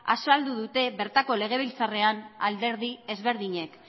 azaldu dute bertako legebiltzarrean alderdi ezberdinek